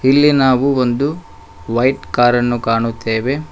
ಇಲ್ಲಿ ನಾವು ಒಂದು ವೈಟ್ ಕಾರ್ ಅನ್ನು ಕಾಣುತ್ತೇವೆ.